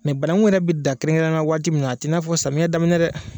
Mɛ banakun yɛrɛ me dan kɛrɛnkɛrɛn waati min na a ti n'a fɔ samiya daminɛ dɛ